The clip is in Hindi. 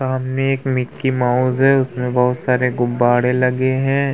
सामने एक मिक्की माउस है उसमे बहोत सारे गुब्बारे लगे है।